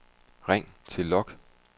ring til log